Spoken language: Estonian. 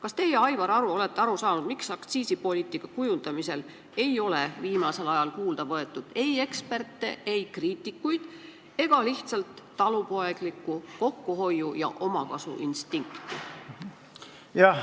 Kas teie, Aivar, olete aru saanud, miks aktsiisipoliitika kujundamisel ei ole viimasel ajal kuulda võetud ei eksperte, kriitikuid ega lihtsalt talupoeglikku kokkuhoiu- ja omakasuinstinkti?